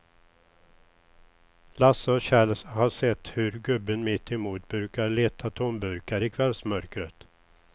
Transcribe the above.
Lasse och Kjell har sett hur gubben mittemot brukar leta tomburkar i kvällsmörkret.